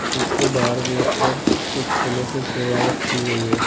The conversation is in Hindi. इसके बाहर गेट पर कुछ फूलों से सजावट की गई है।